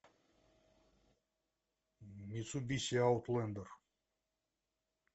мицубиси аутлендер